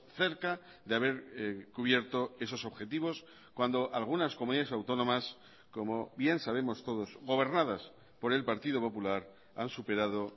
cerca de haber cubierto esos objetivos cuando algunas comunidades autónomas como bien sabemos todos gobernadas por el partido popular han superado